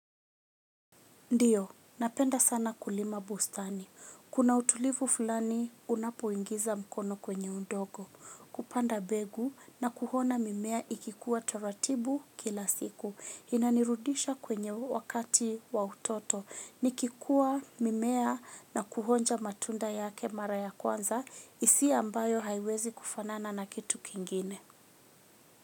Ndiyo, napenda sana kulima bustani. Kuna utulivu fulani unapoingiza mkono kwenye undogo. Kupanda begu na kuhona mimea ikikuwa taratibu kila siku. Inanirudisha kwenye wakati wa utoto. Nikikua mimea na kuhonja matunda yake mara ya kwanza hisia ambayo haiwezi kufanana na kitu kingine.